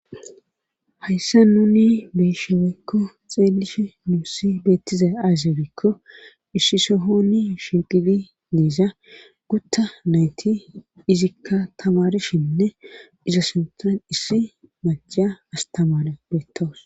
hayssa nuni beshe woykko xeelishe nuussi beettiza aaze gikko issi sohoni shinqidi diiza gutta nayti izikka tamarshinne iza sintan issi maceya astamare beettawus.